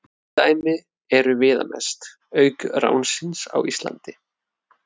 Tvö dæmi eru viðamest, auk ránsins á Íslandi.